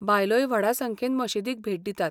बायलोय व्हडा संख्येन मशीदीक भेट दितात.